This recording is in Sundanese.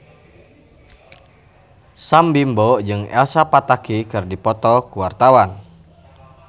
Sam Bimbo jeung Elsa Pataky keur dipoto ku wartawan